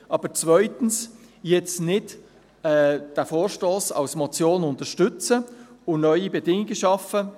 Aber zweitens: Jetzt nicht diesen Vorstoss als Motion unterstützen und neue Bedingungen schaffen.